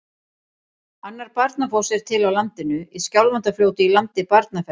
Annar Barnafoss er til á landinu, í Skjálfandafljóti í landi Barnafells.